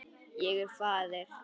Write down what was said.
Ég er faðir.